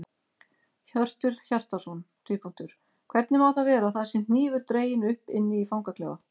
Hjörtur Hjartarson: Hvernig má það vera að það sé hnífur dreginn upp inni í fangaklefa?